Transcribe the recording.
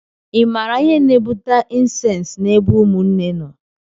i maara ihe na-ebute incesti na ebe ụmụnne nọ?